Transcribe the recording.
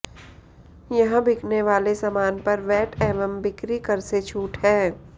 यहां बिकने वाले सामान पर वैट एवं बिक्री कर से छूट है